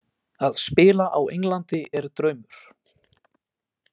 Að spila á Englandi er draumur.